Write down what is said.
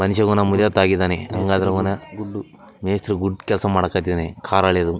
ಮನುಷ್ಯಗೂ ನಮ್‌ ಉರಿಯತ್ತಾಗಿದಾನೆ ಎಂಗಾದ್ರೂ ಅವ್ನ ಗುಡ್ಡು ಮೇಸ್ತ್ರಿ ಗುಡ್‌ ಕೆಲ್ಸ ಮಾಡಕತ್ತಿದಾನೆ ಕಾರ್‌ ಅಳ್ಯೋದು. .